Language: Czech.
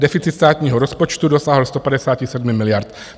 Deficit státního rozpočtu dosáhl 157 miliard.